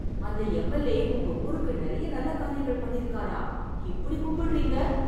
அந்த எம்எல்ஏ உங்க ஊருக்கு நெறைய நல்ல காரியங்கள் பண்ணிருக்காரா? இப்படி கும்படறீங்க‌